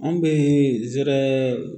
Anw bɛ zɛrɛ